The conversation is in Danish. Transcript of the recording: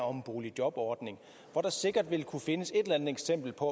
om en boligjobordning hvor der sikkert vil kunne findes et eller andet eksempel på